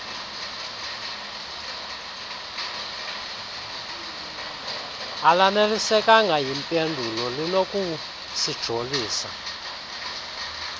alanelisekanga yimpendulo linokusijolisa